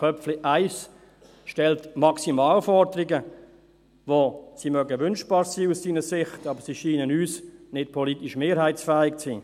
Köpfli stellt Maximalforderungen, die aus seiner Sicht wünschbar sein mögen, uns aber nicht politisch mehrheitsfähig zu sein scheinen.